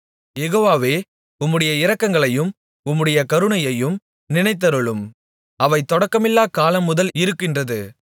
யெகோவாவே உம்முடைய இரக்கங்களையும் உம்முடைய கருணையையும் நினைத்தருளும் அவை தொடக்கமில்லா காலம் முதல் இருக்கின்றது